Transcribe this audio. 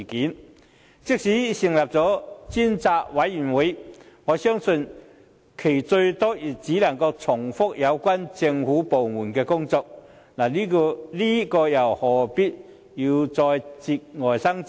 況且，即使成立了專責委員會，我相信最多也只能重複有關政府部門的工作，這又何必再節外生枝呢？